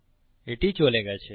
এটি চলে গেছে